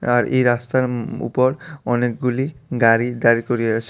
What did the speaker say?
আর এই রাস্তার উম ম উপর অনেক গুলি গাড়ি দাঁড় করিয়ে আছে।